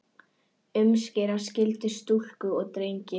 Umskera skyldi stúlkur og drengi.